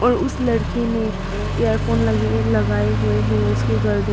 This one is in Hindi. और उस लड़के ने इयरफोन लगे लगाए हुए हैं उसके गर्दन--